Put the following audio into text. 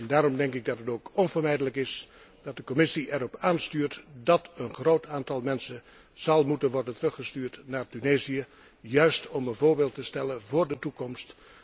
Daarom denk ik dat het ook onvermijdelijk is dat de Commissie erop aanstuurt dat een groot aantal mensen zal moeten worden teruggestuurd naar Tunesië, juist om een voorbeeld te stellen voor de toekomst.